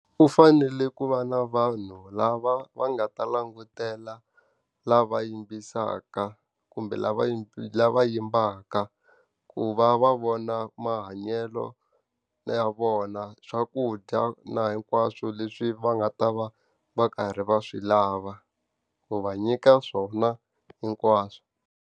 U fanele ku va na vanhu lava va nga ta langutela lava yimbisaka kumbe lava lava yimbaka. Ku va va vona mahanyelo ya vona, swakudya na hinkwaswo leswi va nga ta va va karhi va swi lava, ku va nyika swona hinkwaswo.